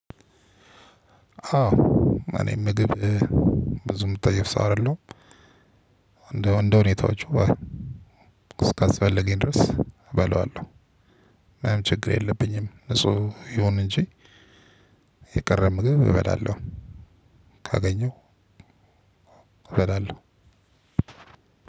አዎ እኔ ምግብ ብዙ የምጠይፍ ሰው አይደለሁም። እንደ እንደ ሁኔታወች እስካስፈለገኝ ድረስ እበላዋለሁ። ምናምን ችግር የለብኝም ንጹህ ይሁን እንጂ። የቀረበ ምግብ እበላለሁ። ካገኘሁ እበላለሁ።